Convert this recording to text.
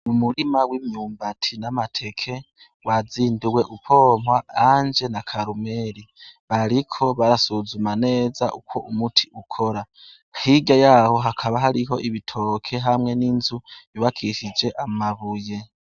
Umurima w'imyumbati n'amateke wandiwe umpompa Anje na Karumeri. Bariko barasuzuma neza uko umuti ukora, hirya yaho hakaba hariho ibitoke hamwe n'inzu yubakishije amabuye.